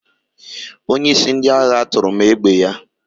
Onyeisi ndị agha tụrụ m égbè ya.